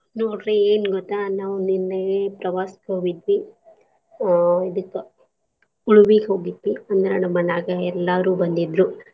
ನೋಡ್ರಿ ಎನ್ ಗೊತ್ತಾ ನಾವ್ ನಿನ್ನೆ ಪ್ರವಾಸಕ್ ಹೋಗಿದ್ವಿ, ಅಹ್ ಇದಕ್ಕ ಉಳ್ವಿಗ್ ಹೋಗಿದ್ವಿ ಅಂದ್ರ ನಮ್ಮನ್ಯಾಗೇ ಎಲ್ಲಾರೂ ಬಂದಿದ್ರೂ.